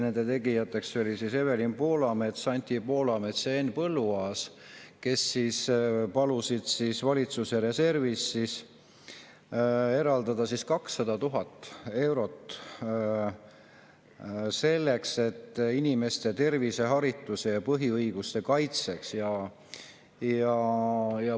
Selle tegijad olid Evelin Poolamets, Anti Poolamets ja Henn Põlluaas, kes palusid valitsuse reservist eraldada 200 000 eurot inimeste tervise, harituse ja põhiõiguste kaitseks.